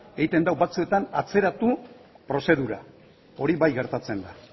egiten du batzuetan atzeratu prozedura hori bai gertatzen da